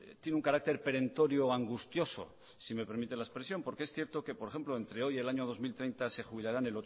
tiene un carácter perentorio angustioso si me permiten la expresión porque es cierto que por ejemplo entre hoy y el año dos mil treinta se jubilarán